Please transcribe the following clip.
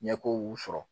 Ɲɛko sɔrɔ